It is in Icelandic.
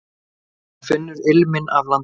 Hann finnur ilminn af landinu.